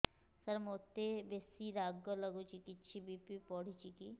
ସାର ମୋତେ ବେସି ରାଗ ଲାଗୁଚି କିଛି ବି.ପି ବଢ଼ିଚି କି